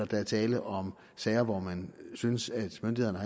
der er tale om sager hvor man synes at myndighederne